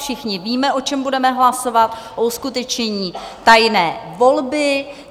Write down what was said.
Všichni víme, o čem budeme hlasovat, o uskutečnění tajné volby.